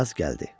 Yaz gəldi.